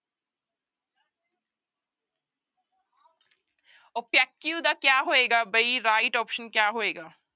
opaque ਦਾ ਕਿਆ ਹੋਏਗਾ ਬਈ right option ਕਿਆ ਹੋਏਗਾ?